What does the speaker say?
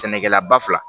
Sɛnɛkɛlaba fila